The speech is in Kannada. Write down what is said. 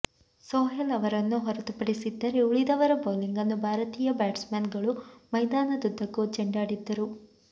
ಸೊಹೇಲ್ ಅವರನ್ನು ಹೊರತುಪಡಿಸಿದ್ದರೆ ಉಳಿದವರ ಬೌಲಿಂಗನ್ನು ಭಾರತೀಯ ಬ್ಯಾಟ್ಸ್ ಮನ್ ಗಳು ಮೈದಾನದುದ್ದಕ್ಕೂ ಚೆಂಡಾಡಿದ್ದರು